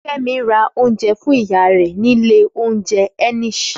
Fẹ́mi ra oúnjẹ fún ìyá rẹ̀ nílé oúnjẹ Enish